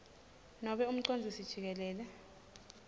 nobe umcondzisi jikelele